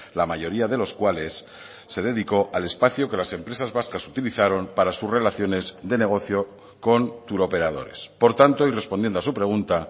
la mayoría de los cuales se dedicó al espacio que las empresas vascas utilizaron para sus relaciones de negocio con turoperadores por tanto y respondiendo a su pregunta